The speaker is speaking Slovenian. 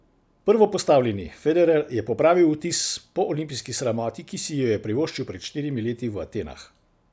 Prvopostavljeni Federer je popravil vtis po olimpijski sramoti, ki si jo je privoščil pred štirimi leti v Atenah.